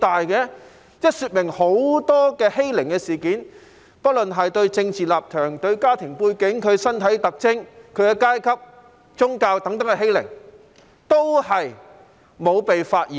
這說明有很多欺凌事件，不論是對政治立場、家庭背景、身體特徵、階級或宗教等的欺凌，也是沒有被發現的。